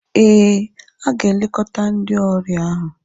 Ee, ha ga-elekọta ndị ọrịa ahụ.